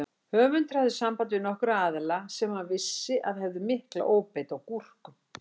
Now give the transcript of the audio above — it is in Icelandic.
Höfundur hafði samband við nokkra aðila sem hann vissi að hefðu mikla óbeit á gúrkum.